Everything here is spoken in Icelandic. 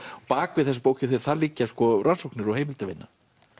bak við þessa bók liggja rannsóknir og heimildavinna